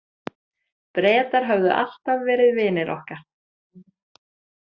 Bretar höfðu alltaf verið vinir okkar.